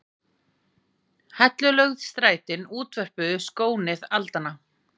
Hellulögð strætin útvörpuðu skónið aldanna.